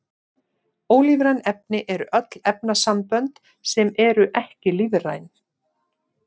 Ólífræn efni eru öll efnasambönd sem eru ekki lífræn.